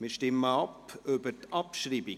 Wir stimmen ab über die Abschreibung.